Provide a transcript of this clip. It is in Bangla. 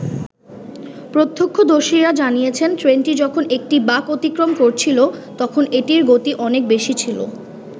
প্রত্যক্ষদর্শীরা জানিয়েছেন ট্রেনটি যখন একটি বাঁক অতিক্রম করছিল, তখন এটির গতি অনেক বেশি ছিল।